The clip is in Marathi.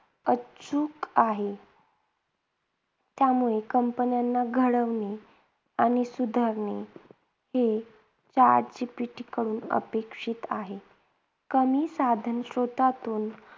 उत्सुक आहे. त्यामुळे companies ना घडवणे आणि सुधारणे हे chat GPT कडून अपेक्षित आहे. कमी साधन स्रोतातून